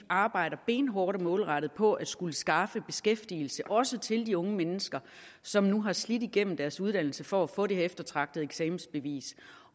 arbejder benhårdt og målrettet på at skulle skaffe beskæftigelse også til de unge mennesker som nu har slidt sig igennem deres uddannelse for at få det her eftertragtede eksamensbevis